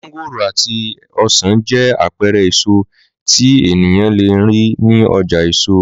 Mángòrò àti ọsàn jẹ́ àpẹẹrẹ èso tí ènìyàn le rí ní ọjà èso.